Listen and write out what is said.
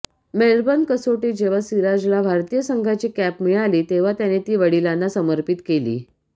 Melbourne कसोटीत जेव्हा सिराजला भारतीय संघाची कॅप मिळाली तेव्हा त्याने ती वडीलांना समर्पित केली